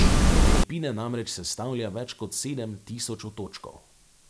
Filipine namreč sestavlja več kot sedem tisoč otočkov.